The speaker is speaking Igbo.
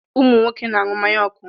Ụmụ nwoke ka aṅụ mmanya ọkụ.